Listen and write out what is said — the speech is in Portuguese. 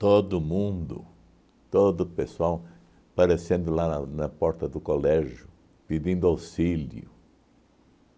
Todo mundo, todo pessoal, aparecendo lá na na porta do colégio, pedindo auxílio.